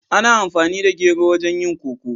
Ana amfani da gero wajen yin koko.